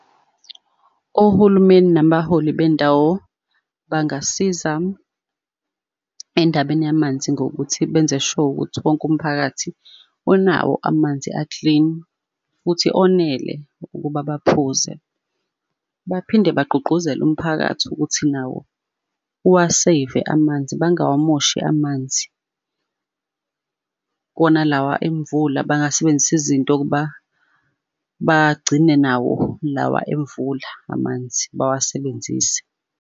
Ohulumeni nabaholi bendawo bangasiza endabeni yamanzi ngokuthi benze sure ukuthi wonke umphakathi onawo amanzi a-clean, futhi onele ukuba baphuze. Baphinde bagqugquzele umphakathi ukuthi nawo uwa-save amanzi, bangawamoshi amanzi. Kona lawa emvula bangasebenzisa izinto ukuba bagcine nawo lawa emvula amanzi bawasebenzise.